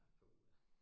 Ja puha